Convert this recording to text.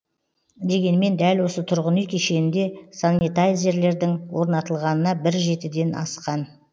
дегенмен дәл осы тұрғын үй кешенінде санитайзерлердің орнатылғанына бір жетіден асқан